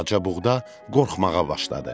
Balaca buğda qorxmağa başladı.